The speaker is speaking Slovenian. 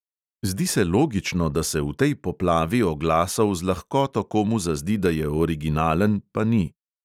Zdi se logično, da se v tej poplavi oglasov z lahkoto komu zazdi, da je originalen, pa ni.